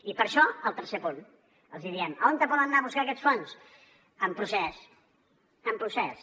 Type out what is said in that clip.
i per això al tercer punt els diem on poden anar a buscar aquests fons en procés en procés